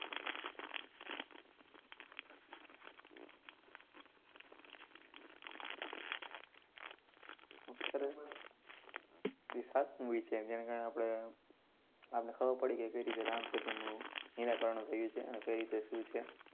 ખૂબ સરસ, ઈ સારું movie છે. જેના કારણે આપણે, આપણે ખબર પડી ગઈ કઈ રીતે રામસેતુનું નિરાકરણ થયું છે અને કઈ રીતે શું છે